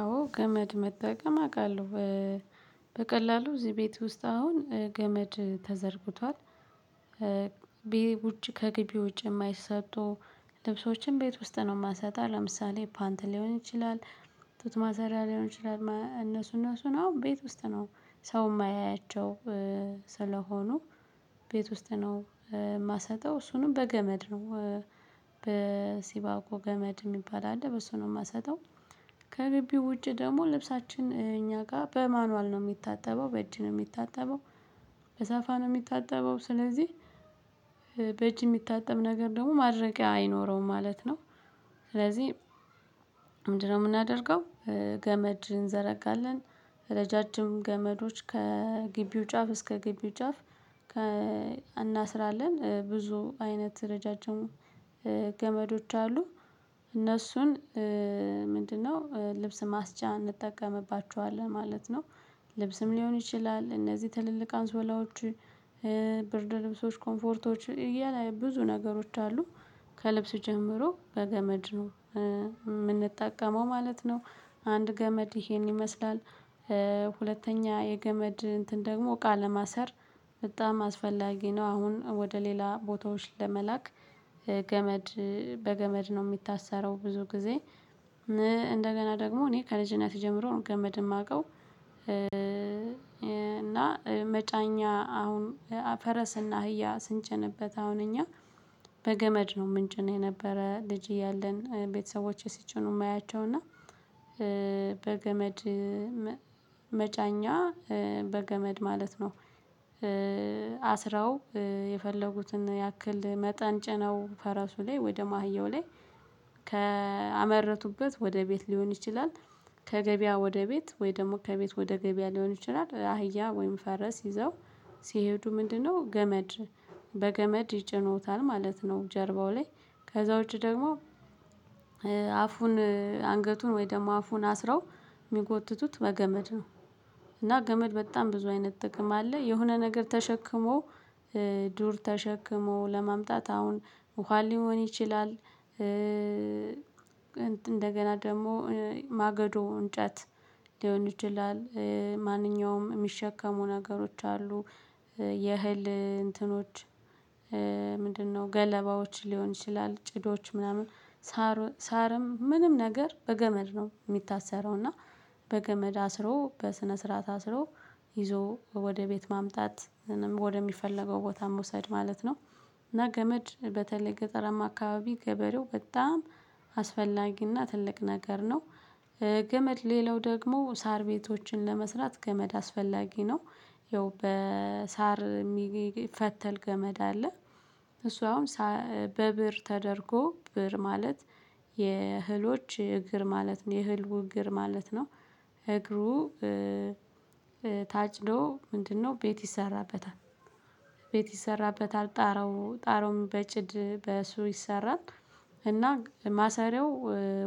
አዎ ገመድ መጠቀም አውቃለሁ በቀላሉ እዚህ ቤት ውስጥ አሁን ገመድ ተዘርግቷል። ቤት ውጪ ከግቢ ውጪ የማይሰጡ ልብሶችን ቤት ውስጥ ነው የማሰጠው ለምሳሌ ፓንት ሊሆን ይችላል። ጡጥ ማሰሪያ ሊሆን ይችላል እነሱ እነሱን አሁን ቤት ውስጥ ነው ሰው የማያያቸው። ስለሆኑ ቤት ውስጥ ነው የማሰጠው እሱንም በገመድ ነው በሲባኮ ገመድ የሚባል አለ በሱ ነው የማሰጠው። ከግብው ውጪ ደግሞ ልብሳችን እኛ ጋር በማኑዋል ነው የሚታጠበው በእጅ ነው የሚታጠበው። በሳፋ ነው የሚታጠበው ስለዚህ በእጅ የሚታጠብ ነገር ደግሞ ማድረቅያ አይኖረውም ማለት ነው። ስለዚህ ምንድነው የምናደርገው? ገመድ እንዘረጋለን። ረጃጅም ገመዶች ከግቢው ጫፍ እስከ ግቢው ጫፍ። እናስራለን ብዙ አይነት ረጃጅሙ ገመዶች አሉ እነሱን ምንድነው ልብስ ማስጫ እንጠቀምባቸዋለን ማለት ነው። ልብስም ሊሆን ይችላል እነዚህ ትልልቅ አንሶላዎች ብርድ ልብሶች ኮምፎርቶች እያለ ብዙ ነገሮች አሉ። ከልብስ ጀምሮ በገመድ ነው የምንጠቀመው ማለት ነው። አንድ ገመድ ይሄን ይመስላል። ሁለተኛ የገመድ እንትን ደግሞ እቃ ለማሰር። በጣም አስፈላጊ ነው አሁን ወደ ሌላ ቦታዎች ለመላክ ገመድ በገመድ ነው የሚታሰረው ብዙ ጊዜ። እንደገና ደግሞ እኔ ከልጅነቴ ጀምሮ ነው ገመድ የማውቀው። እና መጫኛ አሁን ፈረስና አህያ ስንጨንበት አሁን እኛ በገመድ ነው የምንጭን የነበረ ልጅ እያለን ቤተሰቦቼ ሲጭኑ የማያቸው እና በገመድ መጫኛ በገመድ ማለት ነው። አስረው የፈለጉትን ያክል መጠን ጭነው ከራሱ ላይ ወይ ደሞ አህያው ላይ ከአመረቱበት ወደ ቤት ሊሆን ይችላል። ከገበያ ወደ ቤት ወይ ደግሞ ከቤት ወደ ገበያ ሊሆን ይችላል አህያ ወይም ፈረስ ይዘው ሲሄዱ ምንድነው ገመድ? በገመድ ይጭኑታል ማለት ነው። ጀርባው ላይ ከዛ ውጪ ደግሞ አፉን አንገቱን ወይ ደግሞ አፉን አስረው የሚጎትቱት በገመድ ነው። እና ገመድ በጣም ብዙ አይነት ጥቅም አለ የሆነ ነገር ተሸክሞ ዱር ተሸክሞ ለማምጣት አሁን ውሃ ሊሆን ይችላል እንደገና ደግሞ ማገዶ እንጨት ሊሆን ይችላል ማንኛውም የሚሸከሙ ነገሮች አሉ። የእህል እንትኖች ምንድነው ገለባዎች ሊሆን ይችላል ጭዶች ምናምን ሳር ሳርም ምንም ነገር በገመድ ነው የሚታሰረው እና በገመድ አስሮ በስነ ስርዓት አስሮ ይዞ ወደ ቤት ማምጣት ወደሚፈለገው ቦታ መውሰድ ማለት ነው። እና ገመድ በተለይ ገጠራማ አካባቢ ገበሬው በጣም አስፈላጊና ትልቅ ነገር ነው። ገመድ ሌላው ደግሞ ሳር ቤቶችን ለመስራት ገመድ አስፈላጊ ነው። ይኸው በሳር የሚፈተል ገመድ አለ። እሱ አሁን በብር ተደርጎ ብር ማለት የህሎች እግር ማለት ነው የህልው እግር ማለት ነው እግሩ ታጭዶ ምንድነው ቤት ይሰራበታል። ቤት ይሰራበታል ጣራው ጣራውም በጭድ በሱ ይሰራል። እና ማሰሪያው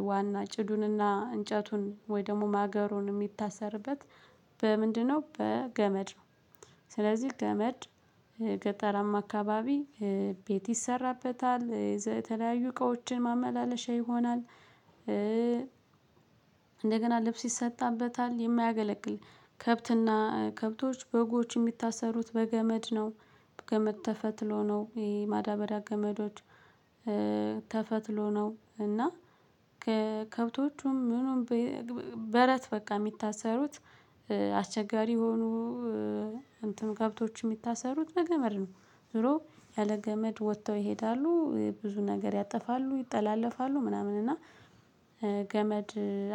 ዋና ጭዱንና እንጨቱን ወይ ደግሞ ማገሩን የሚታሰርበት በምንድነው በገመድ ነው። ስለዚህ ገመድ ገጠራማ አካባቢ ቤት ይሰራበታል የተለያዩ እቃዎችን ማመላለሻ ይሆናል። እንደገና ልብስ ይሰጣበታል የማያገለግል ከብትና ከብቶች በጎች የሚታሰሩት በገመድ ነው። በገመድ ተፈትሎ ነው ይሄ ማዳበራ ገመዶች ተፈትሎ ነው እና ከከብቶቹም ምኑም በቃ የሚታሰሩት አስቸጋሪ የሆኑ እንትን ከብቶች የሚታሰሩት በገመድ ነው። ድሮ ያለ ገመድ ወጥተው ይሄዳሉ ብዙ ነገር ያጠፋሉ ይጠላለፋሉ ምናምን እና ገመድ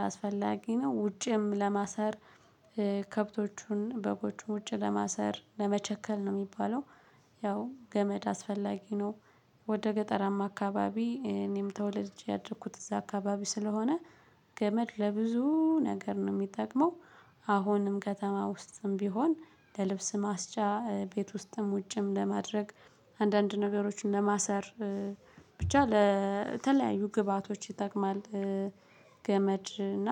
አስፈላጊ ነው ውጭም ለማሰር ከብቶቹን እበቦችን ውጪ ለማሰር ለመቸከል ነው የሚባለው። ያው ገመድ አስፈላጊ ነው። ወደ ገጠራማ አካባቢ እኔም ተወለድጄ ያደረኩት እዛ አካባቢ ስለሆነ ገመድ ለብዙ ነገር ነው የሚጠቅመው። አሁንም ከተማ ውስጥም ቢሆን ለልብስ ማስጫ ቤት ውስጥም ውጭም ለማድረግ አንዳንድ ነገሮችን ለማሰር ብቻ ለተለያዩ ግብአቶች ይጠቅማል። ገመድ እና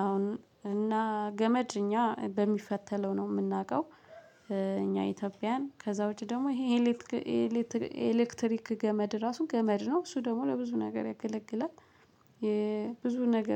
አሁን እና ገመድ እኛ በሚፈተለው ነው የምናውቀው እኛ ኢትዮጵያን ከዛ ውጪ ደግሞ ይሄ ኤሌክትሪክ ገመድ ራሱ ገመድ ነው እሱ ደግሞ ለብዙ ነገር ያገለግላል። የብዙ ነገር